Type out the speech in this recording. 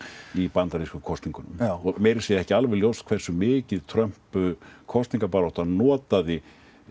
í bandarískum kosningum meira að segja ekki alveg ljóst hversu mikið Trump kosningabaráttan notaði